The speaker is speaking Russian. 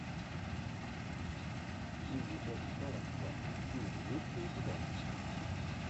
билли боб торнтон фильм есть ли у тебя